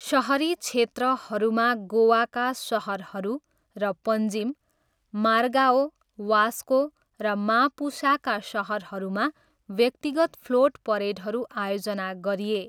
सहरी क्षेत्रहरूमा, गोवाका सहरहरू र पञ्जिम, मार्गाओ, वास्को र मापुसाका सहरहरूमा व्यक्तिगत फ्लोट परेडहरू आयोजना गरिए।